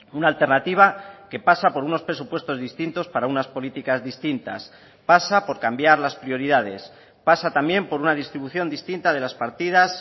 una alternativa que pasa por unos presupuestos distintos para unas políticas distintas pasa por cambiar las prioridades pasa también por una distribución distinta de las partidas